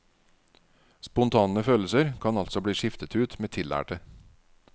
Spontane følelser kan altså bli skiftet ut med tillærte.